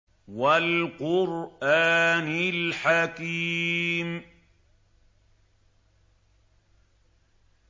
وَالْقُرْآنِ الْحَكِيمِ